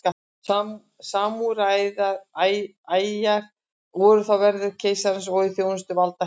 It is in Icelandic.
Samúræjar voru þá verðir keisarans og í þjónustu valdaætta.